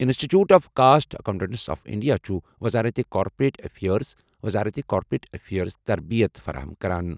انسٹی ٹیوٗٹ of cost accountants of India چھُ وزارت کارپوریٹ افیئرز، وزارت کارپوریٹ افیئرَس تربیت فراہم کران۔